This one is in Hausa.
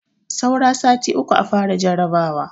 Saura sati uku a fara jarabawa.